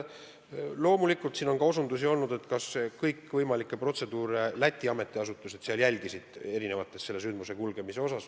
Loomulikult siin on ka küsitud, kas Läti ametiasutused ikka järgisid sündmuste arenedes kõikvõimalikke vajalikke protseduure.